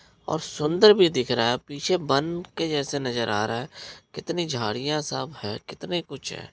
और सुंदर भी दिख रहा है पीछे बन के जैसे नजर आ रहा है। कितनी झाडियाँ सब है कितनी कुछ है।